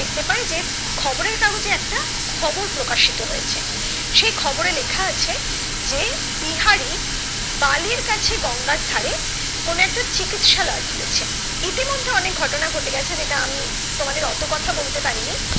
খবর প্ৰকাশিত হয়েছে, সে খবরে লেখা আছে যে বিহারি বালির কাছে গঙ্গার ধারে কোনো একটা চিকিৎসালয় খুলেছে ইতিমধ্যে অনেক ঘটনা ঘটে গেছে যেটা আমি তোমাদের ওতো কথা বলতে পারিনি